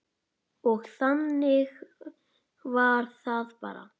Og þannig var það bara.